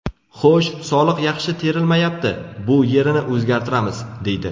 Xo‘sh, soliq yaxshi terilmayapti, bu yerini o‘zgartiramiz, deydi.